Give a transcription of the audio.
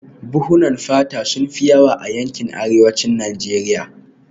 Buhunan fata sun fi yawa a yankin arewacin Najeriya